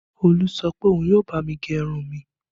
Olú sọ pé òun yóò bá mi gẹ irun mi